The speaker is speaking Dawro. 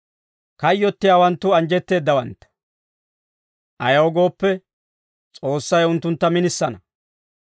Kayyottiyaawanttu anjjetteeddawantta; ayaw gooppe, S'oossay unttuntta minisana.